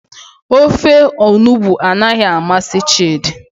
Ofe onugbu anaghị amasị chidi.